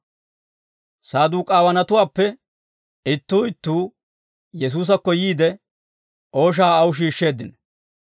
Saduk'aawanatuppe ittuu ittuu Yesuusakko yiide, ooshaa aw shiishsheeddino.